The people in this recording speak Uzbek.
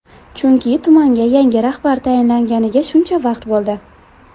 Chunki tumanga yangi rahbar tayinlanganiga shuncha vaqt bo‘ldi.